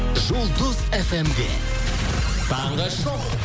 жұлдыз фм де таңғы шоу